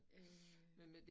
Øh